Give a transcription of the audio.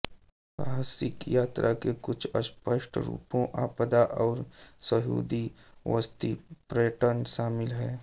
साहसिक यात्रा के कुछ अस्पष्ट रूपों आपदा और यहूदी बस्ती पर्यटन शामिल हैं